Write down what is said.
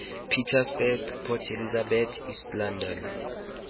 pietersburg port elizabeth east london